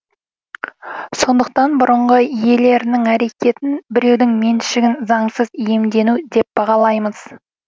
сондықтан бұрынғы иелерінің әрекетін біреудің меншігін заңсыз иемдену деп бағалаймыз